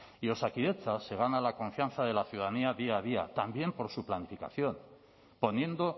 y osakidetza se gana la confianza de la ciudadanía día a día también por su planificación poniendo